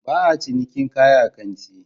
Ba a cinikin kaya a kanti